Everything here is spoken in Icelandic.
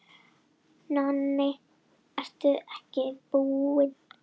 Á hinn bóginn hefur öldum saman verið deilt um landhelgi og fiskveiðiréttindi hér við land.